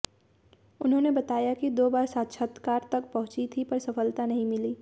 उन्होंने बताया कि दो बार साक्षात्कार तक पहुंची थीं पर सफलता नहीं मिली